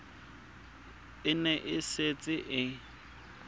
e ne e setse e